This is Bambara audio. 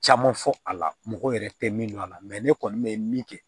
Caman fɔ a la mɔgɔ yɛrɛ tɛ min dɔn a la ne kɔni bɛ min kɛ